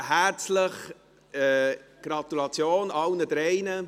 Herzliche Gratulation allen drei.